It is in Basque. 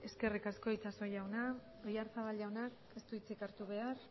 eskerrik asko itxaso jauna oyarzabal jaunak ez du hitzik hartu behar